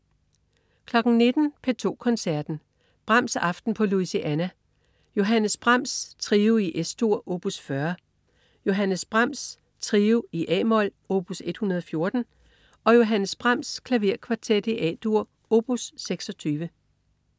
19.00 P2 Koncerten. Brahms-aften på Louisiana. Johannes Brahms: Trio i Es-dur op. 40. Johannes Brahms: Trio i a-mol op. 114. Johannes Brahms: Klaverkvartet A-dur op. 26